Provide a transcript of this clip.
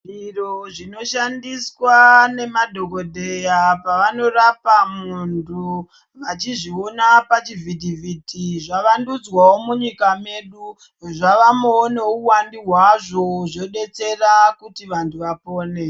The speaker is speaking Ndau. Zviro zvinoshandiswa nemadhokodheya pavanorapa muntu vachizviona pachivhiti vhiti zvavandudzwawo munyika medu zvavamowo nehuwandu hwazvo zvodetsera kuti vanhu vapore.